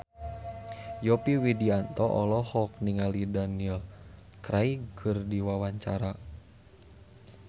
Yovie Widianto olohok ningali Daniel Craig keur diwawancara